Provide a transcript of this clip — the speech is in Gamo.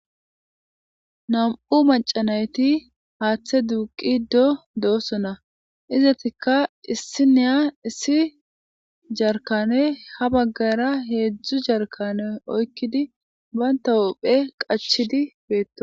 nam7u macanayti haaththe duuqi do dooso na izatikka issi neya issi jarkane ha baggara heedzdzu jarkane oykkidi banta uphe qachidi beetto